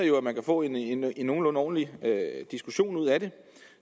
jo at man kan få en nogenlunde ordentlig diskussion ud af det